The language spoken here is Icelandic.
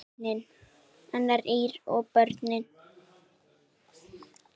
Arnar, Ýr og börn.